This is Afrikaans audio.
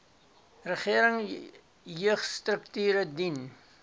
regering jeugstrukture dien